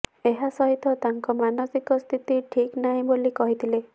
ଏହା ସହିତ ତାଙ୍କ ମାନସିକି ସ୍ଥିତି ଠିକ୍ ନାହିଁ ବୋଲି କହିଥିଲେ